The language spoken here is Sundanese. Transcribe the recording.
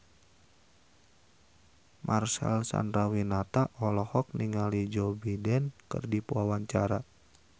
Marcel Chandrawinata olohok ningali Joe Biden keur diwawancara